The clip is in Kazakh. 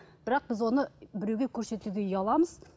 бірақ біз оны біреуге көрсетуге ұяламыз